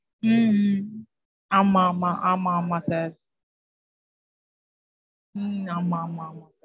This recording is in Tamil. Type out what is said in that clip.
உம் உம் ஆமா, ஆமா, ஆமா, ஆமா sir. உம் ஆமா, ஆமா.